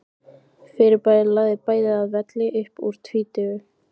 Fyrirbærið lagði bæði að velli upp úr tvítugu.